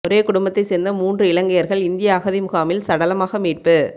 ஒரே குடும்பத்தை சேர்ந்த மூன்று இலங்கையர்கள் இந்தியா அகதிமுகாமில் சடலமாக மீட்பு